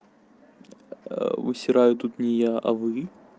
усераю тут не я а вы